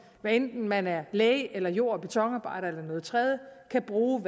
hvad enten man er læge eller jord og betonarbejder eller noget tredje kan bruge